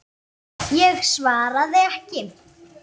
Ég svaraði ekki.